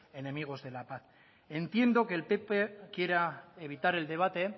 enemigos de la paz entiendo que el pp quiera evitar el debate